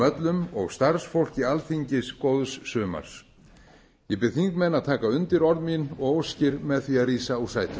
öllum og starfsfólki alþingis góðs sumars ég bið þingmenn að taka undir orð mín og óskir með því að rísa úr sætum